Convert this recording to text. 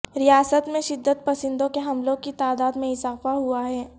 ریاست میں شدت پسندوں کے حملوں کی تعداد میں اضافہ ہوا ہے